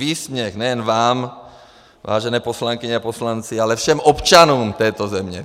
Výsměch nejen vám, vážené poslankyně a poslanci, ale všem občanům této země.